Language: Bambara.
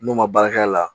N'o ma baara k'a la